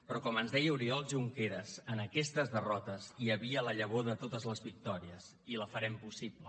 però com ens deia oriol junqueras en aquestes derrotes hi havia la llavor de totes les victòries i la farem possible